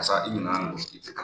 Karisa i nana mun